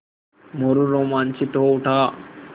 मोरू रोमांचित हो उठा